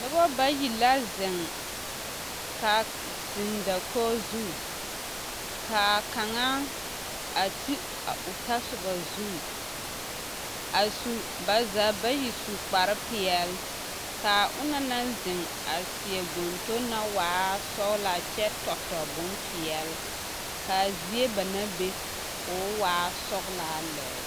Noba bayi la zeŋ k'a, zeŋ dakogi zu k'a kaŋa a ti a o tasoba zu a su, ba zaa bayi su kpare peɛle, k'a onaŋ naŋ zeŋ a seɛ gontoŋ naŋ waa sɔgelaa kyɛ tɔ bompeɛle k'a zie banaŋ be k'o waa sɔgelaa lɛ.